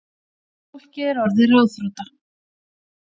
Fólkið er orðið ráðþrota